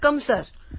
વડક્કમ sir